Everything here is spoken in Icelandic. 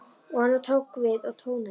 Og annar tók við og tónaði: